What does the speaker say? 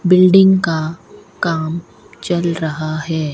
Building का काम चल रहा है।